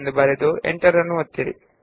ನಂತರ ಎಂಟರ್ ಒತ್ತಿ